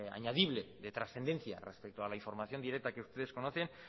añadible de trascendencia respecto a la información directa que ustedes conocen